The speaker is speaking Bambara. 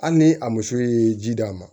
Hali ni a muso ye ji d'a ma